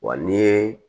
Wa n'i ye